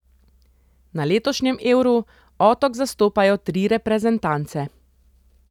Na letošnjem Euru Otok zastopajo tri reprezentance.